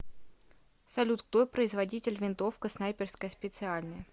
салют кто производитель винтовка снайперская специальная